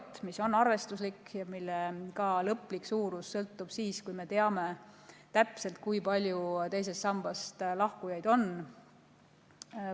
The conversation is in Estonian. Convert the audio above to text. See summa on arvestuslik ja selle lõplik suurus selgub siis, kui me teame täpselt, kui palju teisest sambast lahkujaid on.